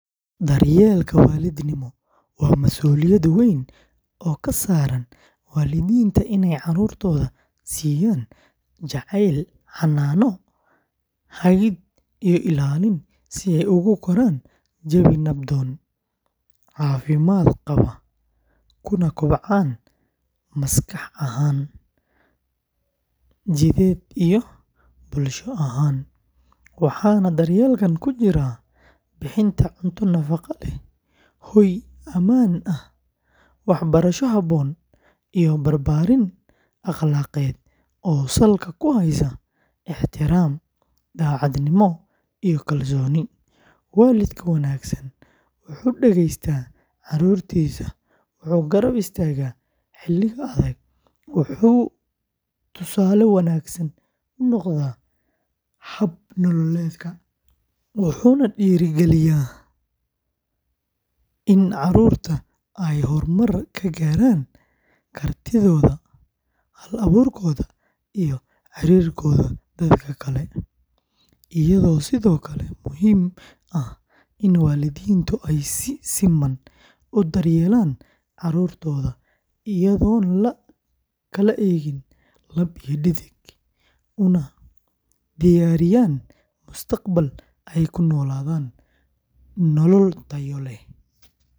Daryeelka waalidnimo waa masuuliyad weyn oo ka saaran waalidiinta in ay carruurtooda siiyaan jacayl, xannaano, hagid, iyo ilaalin si ay ugu koraan jawi nabdoon, caafimaad qaba, kuna kobcaan maskax ahaan, jidheed, iyo bulsho ahaan, waxaana daryeelkan ku jira bixinta cunto nafaqo leh, hoy ammaan ah, waxbarasho habboon, iyo barbaarin akhlaaqeed oo salka ku haysa ixtiraam, daacadnimo, iyo kalsooni; waalidka wanaagsan wuxuu dhegeystaa carruurtiisa, wuxuu garab istaagaa xilliga adag, wuxuu tusaale wanaagsan u noqdaa hab nololeedka, wuxuuna dhiirrigeliyaa in carruurtu ay horumar ka gaaraan kartidooda, hal-abuurkooda, iyo xiriirkooda dadka kale, iyadoo sidoo kale muhiim ah in waalidiintu ay si siman u daryeelaan carruurtooda iyadoon la kala eegin lab iyo dhadig, una diyaariyaan mustaqbal ay ku noolaadaan nolol tayo leh.